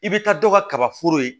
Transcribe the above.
I bɛ taa dɔ kaba foro ye